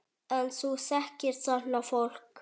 En þú þekkir þarna fólk?